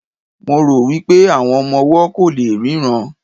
mo ro wipe àwọn ọmọ ọwọ ko le ríran